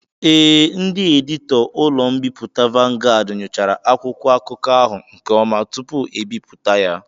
Ee, ndị editọ ụlọ mbipụta Vanguard nyochara akwụkwọ akụkọ ahụ nke ọma tupu ebipụta ya.